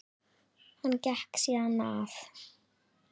Hann gekk síðan að